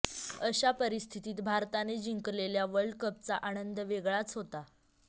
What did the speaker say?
अशा परिस्थितीत भारताने जिंकलेल्या वर्ल्ड कपचा आनंद वेगळाच होता